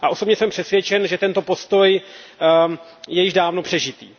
Osobně jsem přesvědčen, že tento postoj je již dávno přežitý.